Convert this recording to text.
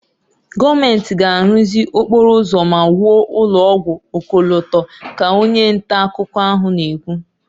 "Gọọmentị ga-arụzi okporo ụzọ ma wuo ụlọ ọgwụ ọkọlọtọ"" ka onye nta akụkọ ahụ na-ekwu"